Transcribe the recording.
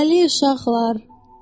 Hələlik, uşaqlar!